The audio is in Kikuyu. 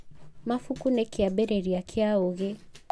mabuku nĩ kĩambĩrĩria kĩa ũgĩ